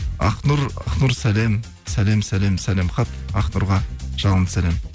ақнұр сәлем сәлем сәлем сәлем хат ақнұрға жалынды сәлем